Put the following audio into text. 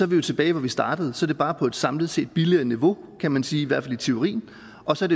vi jo tilbage hvor vi startede så er det bare på et samlet set billigere niveau kan man sige i hvert fald i teorien og så